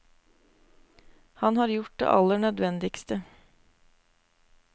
Han har gjort det aller nødvendigste.